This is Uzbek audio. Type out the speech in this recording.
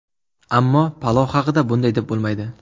Ammo palov haqida bunday deb bo‘lmaydi.